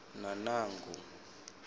nanangu